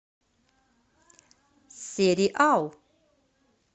сериал